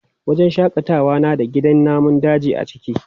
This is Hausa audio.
Wajen shaƙatawa na da gidan namun daji a ciki.